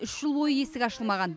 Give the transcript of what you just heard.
үш жыл бойы есігі ашылмаған